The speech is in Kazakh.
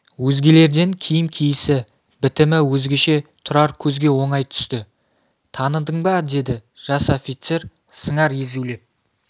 өзгелерден киім киісі бітімі өзгеше тұрар көзге оңай түсті таныдың ба деді жас офицер сыңар езулеп